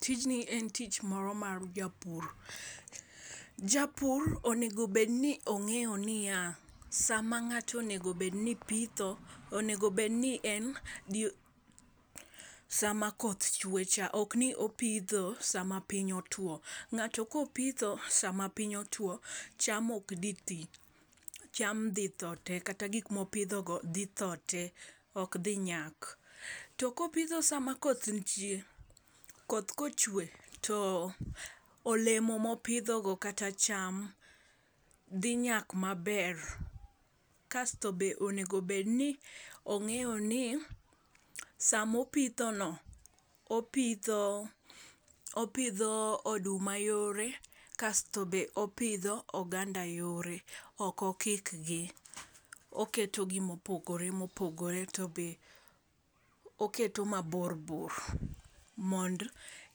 Tijni en tich moro mar japur. Japur onego bed ni ong'eyo niya, sama ng'ato onego bed ni pitho. Onego bed ni en jii sama koth chwe cha ok opitho sama piny otwo. Ng'ato kopitho sama piny otwo cham ok dhi twii cham dhi tho tee kata gik mopidho go dhitho tee, ok dhi nyak. To kopitho sama koth ntie kot kochwe to olemo mopidho go kata acham dhi nyak maber kasto be onego bed ni ong'eyo ni samo pitho no opidho oduma yore kasto be opidho oganda yore ok okikgi . Oketo gi mopogore opogore to be oketo mabor bor mond